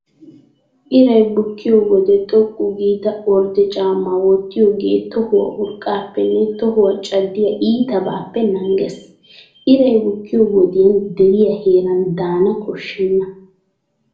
Iray bukkiyo wode xoqqu giida ordde caammaa wottiyoogee tohuwaa urqqaappenne tohuwaa caddiyaa iitabaappe naagees. Iray bukkiyo wodiyan deriyaa heeraan daana koshshenna.